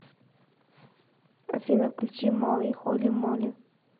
афина включи молли холи молли